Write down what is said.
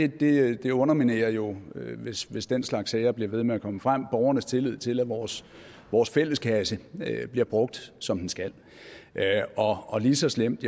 det det underminerer jo hvis hvis den slags sager bliver ved med at komme frem borgernes tillid til at vores vores fælleskasse bliver brugt som den skal og lige så slemt